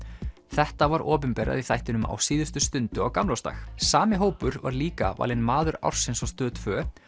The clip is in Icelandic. þetta var opinberað í þættinum á síðustu stundu á gamlársdag sami hópur var líka valinn maður ársins á Stöð tvö